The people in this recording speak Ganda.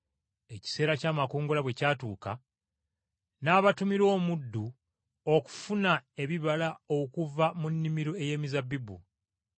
Ekiseera ky’amakungula bwe kyatuuka, n’abatumira omuddu okufuna ebibala okuva mu nnimiro ey’emizabbibu.